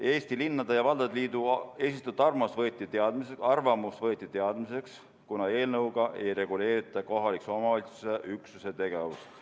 Eesti Linnade ja Valdade Liidu esitatud arvamus võeti teadmiseks, kuna eelnõuga ei reguleerita kohaliku omavalitsuse üksuse tegevust.